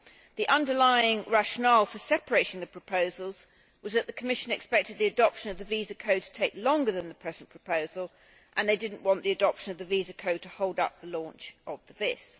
The underlying rationale for separating the proposals was that the Commission expected the adoption of the visa code to take longer than the present proposal, and they did not want the adoption of the visa code to hold up the launch of the VIS.